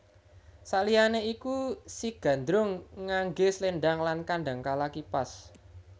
Saliyane iku si Gandrung ngangge slendhang lan kadangkala kipas